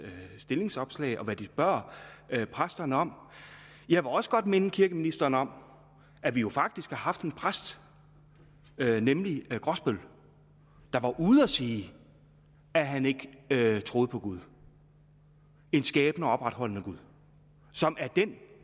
stillingsopslag og hvad de spørger præsterne om jeg vil også godt minde kirkeministeren om at vi jo faktisk har haft en præst nemlig grosbøll der var ude at sige at han ikke troede på gud en skabende og opretholdende gud som er den